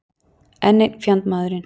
Enn einn fjandmaðurinn.